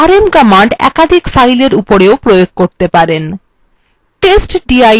আপনি rm command একাধিক fileswe উপরেও প্রয়োগ করতে পারেন